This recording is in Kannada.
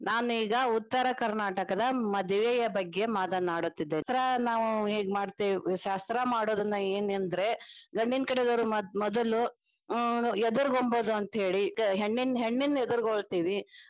ನಾನ ಈಗ ಉತ್ತರ ಕರ್ನಾಟಕದ ಮದುವೆಯ ಬಗ್ಗೆ ಮಾತನಾಡುತ್ತಿದ್ದೇನೆ. ಶಾಸ್ತ್ರಾ ನಾವ ಹೇಗ ಮಾಡ್ತೀವಿ ಶಾಸ್ತ್ರ ಮಾಡುದನ್ನ ಹೇಗ ಅಂದ್ರೆ ಗಂಡಿನ ಕಡೆದವರು ಮೊದಲು ಹ್ಮ್ ಎದುರುಗೊಂಬುದು ಅಂತೇಳಿ ಹೆಣ್ಣಿನ ಹೆಣ್ಣಿನ ಎದುರ್ಗೊಳ್ಳತಿವಿ.